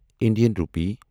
Indian rupee